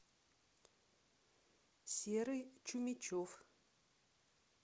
серый чумичев